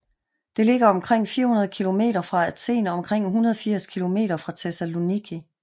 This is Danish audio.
Det ligger omkring 400 kilometer fra Athen og omkring 180 km fra Thessaloniki